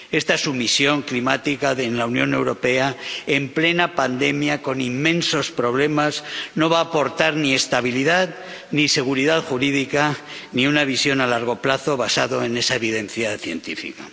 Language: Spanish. Esta sumisión climática en la Unión Europea, en plena pandemia, con inmensos problemas, no va a aportar ni estabilidad ni seguridad jurídica ni una visión a largo plazo basada en esa evidencia científica.